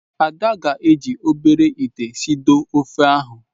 Ada ga-eji obere ite sidoo ofe ahụ.